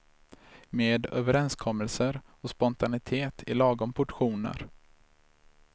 Med överenskommelser och spontanitet i lagom portioner.